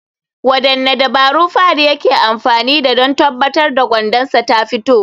Wadanne dabaru Fahad yake amfani da don tabbatar da gwandansa tafito?